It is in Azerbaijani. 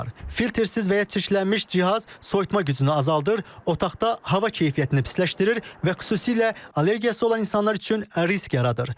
Filtersiz və ya çirklənmiş cihaz soyutma gücünü azaldır, otaqda hava keyfiyyətini pisləşdirir və xüsusilə allergiyası olan insanlar üçün risk yaradır.